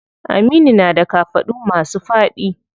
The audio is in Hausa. Aminu na da kafaɗu masu faɗi.